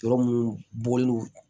Yɔrɔ mun bɔli